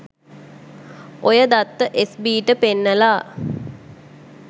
ඔය දත්ත S B ට පෙන්නලා